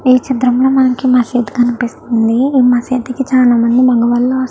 ఈ చిత్రం లో మనకి మస్జిద్ కనిపిస్తుంది ఈ ముసిడ్ కి చాల మంది మొగవాళ్ళు వస్తా --